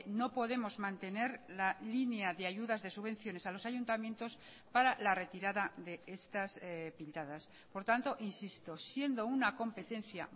no podemos mantener la línea de ayudas de subvenciones a los ayuntamientos para la retirada de estas pintadas por tanto insisto siendo una competencia